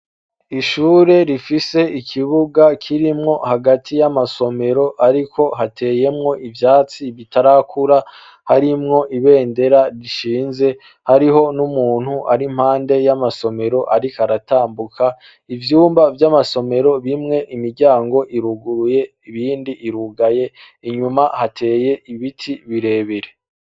Ishure rifise ikibuga kirimwo hagati y'amasomero, ariko hateyemwo ivyatsi bitarakura harimwo ibendera rishinze hariho n'umuntu ari mpande y'amasomero, ariko aratambuka ivyumba vy'amasomero bimwe imiryango iruguruye ibindi imwe bugaye inyuma hateye ibiti birebere.